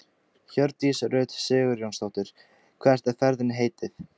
Hjördís Rut Sigurjónsdóttir: Hvert er ferðinni heitið?